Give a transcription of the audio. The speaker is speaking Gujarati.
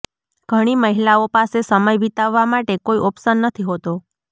ઘણી મહિલાઓ પાસે સમય વિતાવવા માટે કોઇ ઓપ્શન નથી હોતો